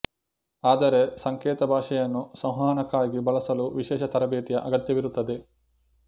ಆದರೆ ಸಂಕೇತ ಭಾಷೆಯನ್ನು ಸಂವಹನಕ್ಕಾಗಿ ಬಳಸಲು ವಿಶೇಷ ತರಬೇತಿಯ ಅಗತ್ಯವಿರುತ್ತದೆ